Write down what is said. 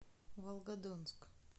волгодонск